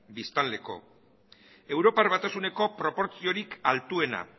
biztanleko europar batasuneko proportziorik altuena